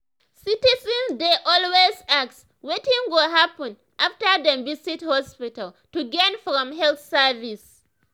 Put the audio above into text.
citizens dey always ask wetin go happen after dem visit hospital to gain from health service.